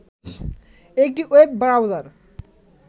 একটি web browser